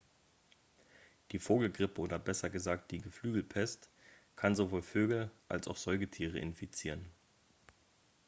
die vogelgrippe oder besser gesagt die geflügelpest kann sowohl vögel als auch säugetiere infizieren